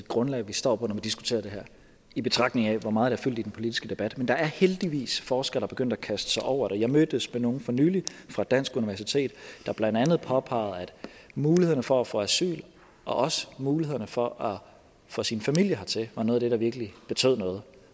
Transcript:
grundlag vi står på når vi diskuterer det her i betragtning af hvor meget det har fyldt i den politiske debat men der er heldigvis forskere som er begyndt at kaste sig over det jeg mødtes med nogle for nylig fra et dansk universitet der blandt andet påpegede at mulighederne for at få asyl og også mulighederne for at få sin familie hertil var noget af det der virkelig betød noget